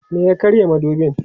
me ya karya madubin?